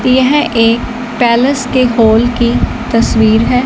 यह एक पैलेस के हाल की तस्वीर है।